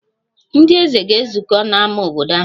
Ndị eze ga-ezukọ n'ámá obodo ahụ.